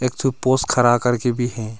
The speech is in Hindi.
एक ठो पोस खड़ा कर के भी हैं।